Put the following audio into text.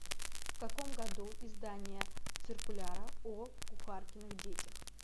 в каком году издание циркуляра о кухаркиных детях